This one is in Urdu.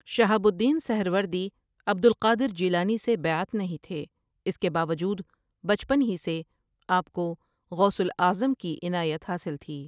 شہاب al Din Suhrawardi Abd al Qadir Jilani سے بیعت نہیں تھے اس کے باوجود بچپن ہی سے آپ کو غوث الاعظم کی عنایت حاصل تھی ۔